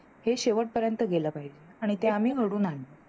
हे शेवटपर्यंत गेल पाहिजे आणि ते आम्ही घडवून आणल.